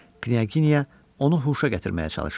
Knyaginya onu huşa gətirməyə çalışırdı.